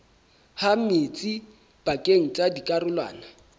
ha metsi pakeng tsa dikarolwana